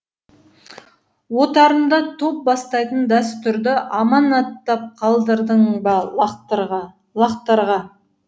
отарыңда топ бастайтын дәстүрді аманаттап қалдырдың ба лақтарға лақтарға